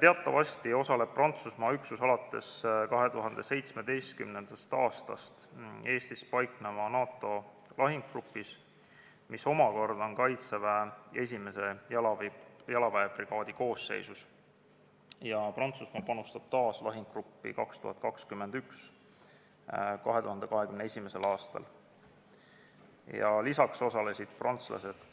Teatavasti osaleb Prantsusmaa üksus alates 2017. aastast Eestis paiknevas NATO lahingugrupis, mis omakorda on Kaitseväe esimese jalaväebrigaadi koosseisus, Prantsusmaa aga panustab omakorda lahingugruppi 2021. aastal ja lisaks osalesid prantslased